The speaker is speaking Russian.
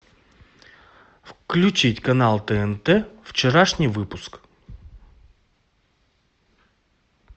включить канал тнт вчерашний выпуск